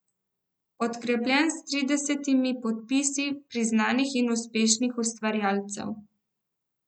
Podkrepljen s tridesetimi podpisi priznanih in uspešnih ustvarjalcev.